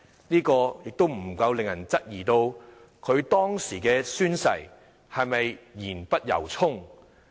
這不禁令人質疑，他當時的宣誓是不是言不由衷？